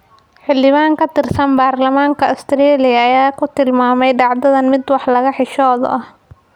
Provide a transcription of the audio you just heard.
Xildhibaan ka tirsan baarlamaanka Australia ayaa ku tilmaamay dhacdadan mid “wax laga xishoodo ah”.